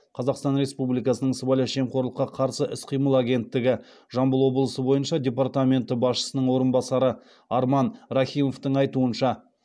қазақстан республикасы сыбайлас жемқорлыққа қарсы іс қимыл агенттігі жамбыл облысы бойынша департаменті басшысының орынбасары арман рахимовтың айтуынша